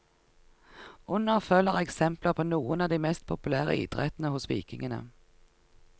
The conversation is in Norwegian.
Under følger eksempler på noen av de mest populære idrettene hos vikingene.